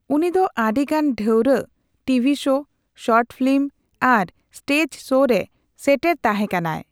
ᱩᱱᱤ ᱫᱚ ᱟᱹᱰᱤᱜᱟᱱ ᱰᱷᱟᱣᱨᱟᱜ, ᱴᱤᱵᱷᱤ ᱥᱳ, ᱥᱚᱨᱴ ᱯᱷᱤᱞᱤᱢ ᱟᱨ ᱥᱴᱮᱡ ᱥᱳ ᱨᱮ ᱥᱮᱴᱮᱨ ᱛᱟᱸᱦᱮᱠᱟᱱᱟᱭ ᱾